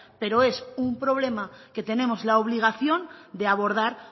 pero es un problema que tenemos la obligación de abordar